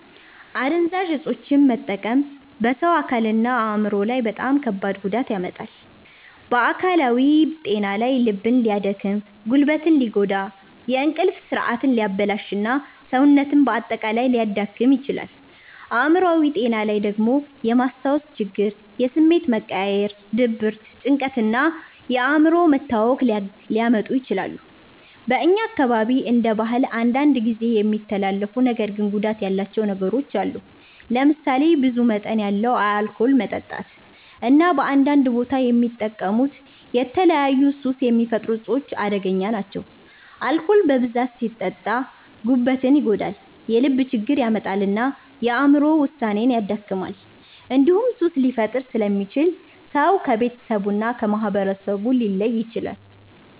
አደንዛዥ እፆችን መጠቀም በሰው አካልና አእምሮ ላይ በጣም ከባድ ጉዳት ያመጣል። በአካላዊ ጤና ላይ ልብን ሊያደክም፣ ጉበትን ሊጎዳ፣ እንቅልፍ ስርዓትን ሊያበላሽ እና ሰውነትን በአጠቃላይ ሊያዳክም ይችላል። አእምሮአዊ ጤና ላይ ደግሞ የማስታወስ ችግር፣ የስሜት መቀያየር፣ ድብርት፣ ጭንቀት እና እንኳን የአእምሮ መታወክ ሊያመጡ ይችላሉ። በእኛ አካባቢ እንደ ባህል አንዳንድ ጊዜ የሚተላለፉ ነገር ግን ጉዳት ያላቸው ነገሮች አሉ። ለምሳሌ ብዙ መጠን ያለው አልኮል መጠጣት እና በአንዳንድ ቦታ የሚጠቀሙት የተለያዩ ሱስ የሚፈጥሩ እፆች አደገኛ ናቸው። አልኮል በብዛት ሲጠጣ ጉበትን ይጎዳል፣ የልብ ችግር ያመጣል እና የአእምሮ ውሳኔን ያደክማል። እንዲሁም ሱስ ሊፈጥር ስለሚችል ሰው ከቤተሰቡ እና ከማህበረሰቡ ሊለይ ይችላል።